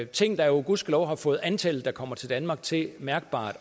ting der jo gudskelov har fået antallet der kommer til danmark til mærkbart